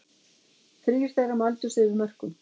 Þrír þeirra mældust yfir mörkum